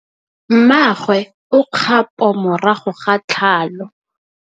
Mmagwe o kgapô morago ga tlhalô.